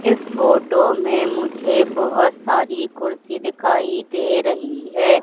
इस फोटो में मुझे बहोत सारी कुर्सी दिखाई दे रही है।